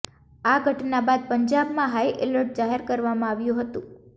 આ ઘટના બાદ પંજાબમાં હાઈ એલર્ટ જાહેર કરવામાં આવ્યું હતું